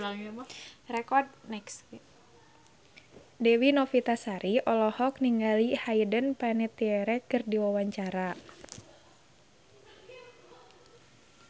Dewi Novitasari olohok ningali Hayden Panettiere keur diwawancara